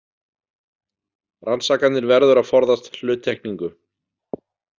Rannsakandinn verður að forðast hluttekningu.